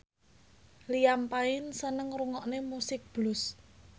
Liam Payne seneng ngrungokne musik blues